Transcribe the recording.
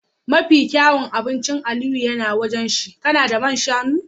Mafi kyawun abincin Aliyu na waje shine Kanada man shanu